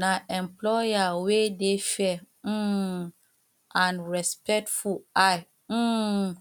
na employer wey dey fair um and respectful i um